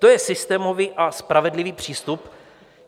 To je systémový a spravedlivý přístup?